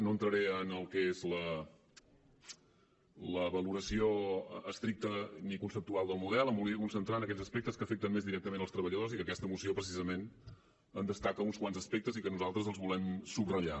no entraré en el que és la valoració estricta ni conceptual del model em volia concentrar en aquells aspectes que afecten més directament els treballadors que aquesta moció precisament en destaca uns quants aspectes i nosaltres els volem subratllar